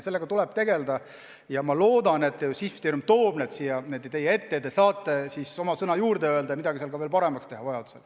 Sellega tuleb tegelda ja ma loodan, et minister toob muudatused siia teie ette ja te saate oma sõna sekka öelda ja midagi vajadusel veel paremaks teha.